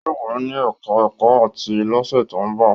Yóò wà ní ẹ̀ká ẹ̀kọ́ áàtì lọ́sẹ̀ tó ń bọ̀